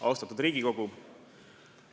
Austatud Riigikogu!